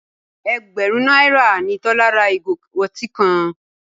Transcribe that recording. Ẹgbẹ̀rún náírà ni Tọ́lá ra ìgò ọtí kan.